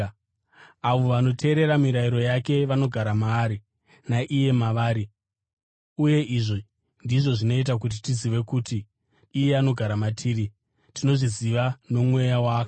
Avo vanoteerera mirayiro yake vanogara maari, naiye mavari. Uye izvi ndizvo zvinoita kuti tizive kuti iye anogara matiri: Tinozviziva noMweya waakatipa.